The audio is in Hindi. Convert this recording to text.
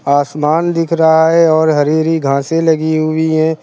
आसमान दिख रहा है और हरी हरी घासें लगी हुई हैं।